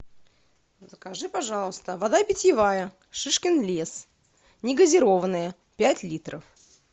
закажи пожалуйста вода питьевая шишкин лес негазированная пять литров